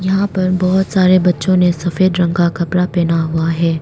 यहां पर बहुत सारे बच्चों ने सफेद रंग का कपड़ा पहना हुआ है।